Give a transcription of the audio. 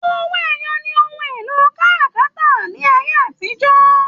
Owó ẹyọ ní ohùn èlò káràkátà ní ayé àtijọ́.